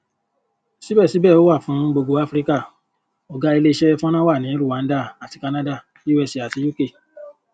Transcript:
síbẹsíbẹ ó wà fún gbogbo áfíríkà ọgá ilé iṣẹ fọnrán wà ní rwanda àti canada usa àti uk